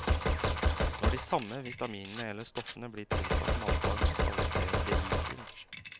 Når de samme vitaminene eller stoffene blir tilsatt matvarene, kalles det beriking.